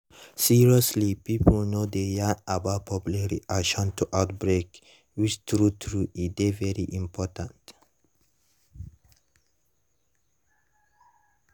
seriously pipo no dey yarn about public reaction to outbreak which true true e dey very important